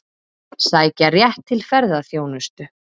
Sækja rétt til ferðaþjónustu